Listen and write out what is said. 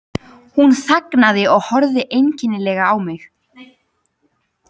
Hún þagnaði og horfði einkennilega á mig.